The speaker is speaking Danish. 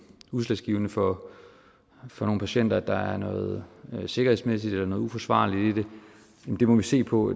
udslagsgivende for for nogle patienter at der er noget sikkerhedsmæssigt eller noget uforsvarligt i det må vi se på